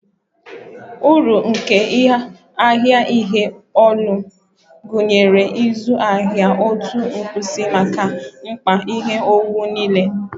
Uru nke ahịa ihe ụlọ gụnyere ịzụ ahịa otu nkwụsị maka mkpa ihe owuwu niile